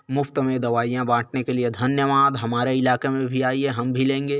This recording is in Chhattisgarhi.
मुफ़्त में दवाइयां बांटने के लिए धन्यवाद हमारे इलाके में भी आई ये हम भी लेंगे।